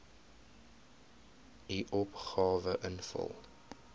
u opgawe invul